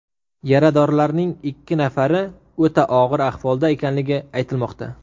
Yaradorlarning ikki nafari o‘ta og‘ir ahvolda ekanligi aytilmoqda.